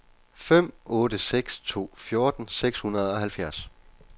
fem otte seks to fjorten seks hundrede og halvfjerds